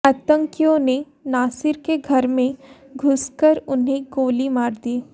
आतंकियों ने नासिर के घर में घुसकर उन्हें गोली मार दी